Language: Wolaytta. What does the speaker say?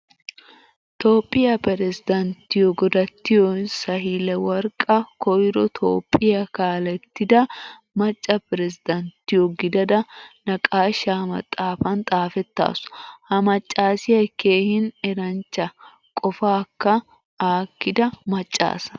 Toophphiyaa pirezdenttiyo godatiyo sahileworqqa koyro toophphiyaa kaalettida macca pirezdenttiyo gidada naaqashshaa maxaafaan xaafettasu. Ha maccasiyaa keehin eranchcha, qofakka aakkida macca asa.